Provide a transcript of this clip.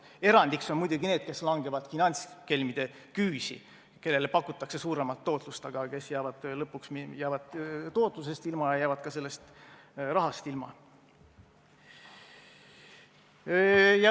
Erandiks on muidugi need, kes langevad finantskelmide küüsi, kellele pakutakse suuremat tootlust, aga lõpuks jäävad tootlusest ilma ja jäävad ka sellest rahast ilma.